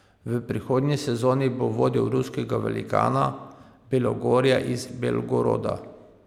V prihodnji sezoni bo vodil ruskega velikana, Belogorje iz Belgoroda.